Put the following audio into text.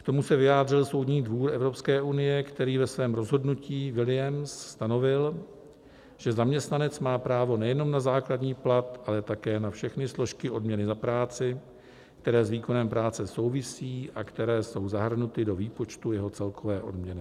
K tomu se vyjádřil Soudní dvůr Evropské unie, který ve svém rozhodnutí Williams stanovil, že zaměstnanec má právo nejenom na základní plat, ale také na všechny složky odměny za práci, které s výkonem práce souvisí a které jsou zahrnuty do výpočtu jeho celkové odměny.